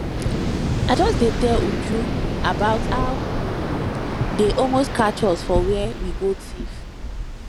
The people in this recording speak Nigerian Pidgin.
i just dey tell uju about how um dey almost catch us for where we go thief